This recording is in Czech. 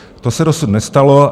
To se dosud nestalo.